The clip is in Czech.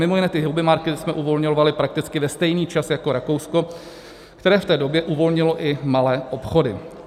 Mimo jiné ty hobby markety jsme uvolňovali prakticky ve stejný čas jako Rakousko, které v té době uvolnilo i malé obchody.